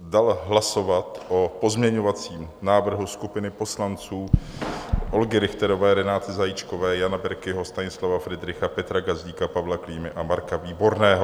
dal hlasovat o pozměňovacím návrhu skupiny poslanců Olgy Richterové, Renáty Zajíčkové, Jana Berkiho, Stanislava Fridricha, Petra Gazdíka, Pavla Klímy a Marka Výborného.